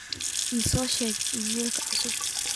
iso sheeg iimayl cusub